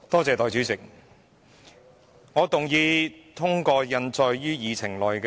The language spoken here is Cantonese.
代理主席，我動議通過印載於議程內的議案。